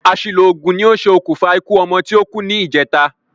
Àsìlò ògùn ní ṣe òkùnfà ikú ọmọ ti o kú ní ìjèta